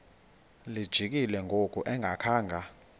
lijikile ngoku engakhanga